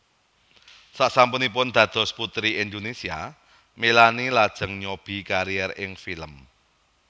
Sasampunipun dados Puteri Indonésia Melanie lajeng nyobi kariér ing film